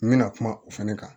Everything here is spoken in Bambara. N bɛna kuma o fana kan